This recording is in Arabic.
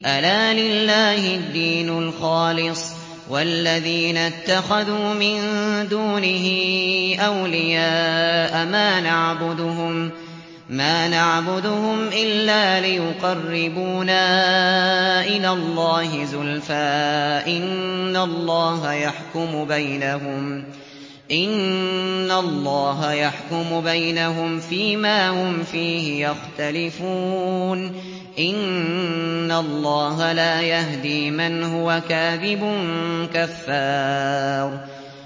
أَلَا لِلَّهِ الدِّينُ الْخَالِصُ ۚ وَالَّذِينَ اتَّخَذُوا مِن دُونِهِ أَوْلِيَاءَ مَا نَعْبُدُهُمْ إِلَّا لِيُقَرِّبُونَا إِلَى اللَّهِ زُلْفَىٰ إِنَّ اللَّهَ يَحْكُمُ بَيْنَهُمْ فِي مَا هُمْ فِيهِ يَخْتَلِفُونَ ۗ إِنَّ اللَّهَ لَا يَهْدِي مَنْ هُوَ كَاذِبٌ كَفَّارٌ